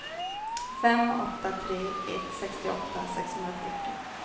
fem åtta tre ett sextioåtta sexhundrafyrtio